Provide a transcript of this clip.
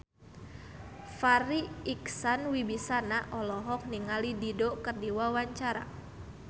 Farri Icksan Wibisana olohok ningali Dido keur diwawancara